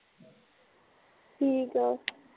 ਠੀਕ ਆ